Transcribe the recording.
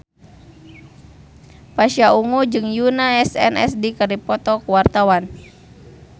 Pasha Ungu jeung Yoona SNSD keur dipoto ku wartawan